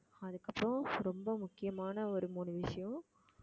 அதுக்கப்புறம் ரொம்ப முக்கியமான ஒரு மூணு விஷயம்